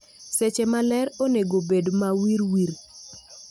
Seche ma ler onego bed mawirwir